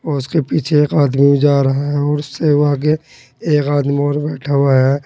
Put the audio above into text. और उसके पीछे एक आदमी जा रहा है और उसेव आगे एक आदमी और बैठा हुआ है।